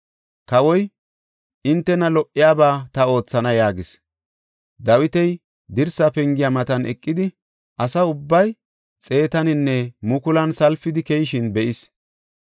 Kawoy, “Hintena lo77iyaba ta oothana” yaagis. Dawiti dirsa pengiya matan eqidi, asa ubbay xeetaninne mukulan salpidi keyishin be7is.